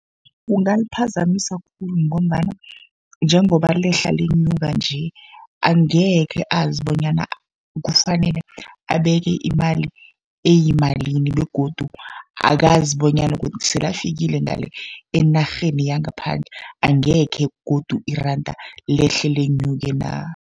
Kungaliphazamisa khulu, ngombana njengoba lehla lenyuka nje angekhe azi bonyana kufanele abeke imali eyimalini., begodu akazi bonyana sele afikile ngale enarheni yangaphandle, angekhe godu iranda lehle lenyuke na.